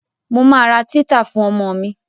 Mo ma ra títà fún ọmọ mi.